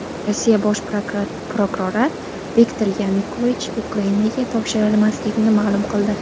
Rossiya bosh prokurori Viktor Yanukovich Ukrainaga topshirilmasligini ma’lum qildi.